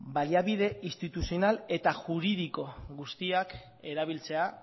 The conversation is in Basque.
baliabide instituzional eta juridiko guztiak erabiltzea